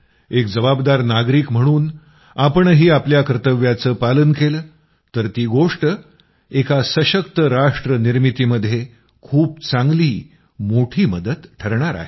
एक जबाबदार नागरिक म्हणून आपणही आपल्या कर्तव्याचं पालन केलं तर ती गोष्ट एक सशक्त राष्ट्र निर्मितीमध्ये खूप चांगली मोठी मदत ठरणार आहे